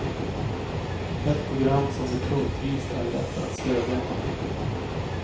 Ett program som det punktvis är lätt att stödja.